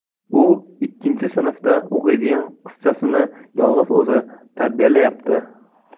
U ikkinchi sinfda o‘qiydigan qizchasini yolg‘iz o‘zi tarbiyalayapti.